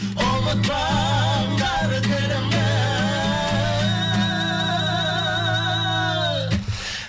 ұмытпаңдар тілімді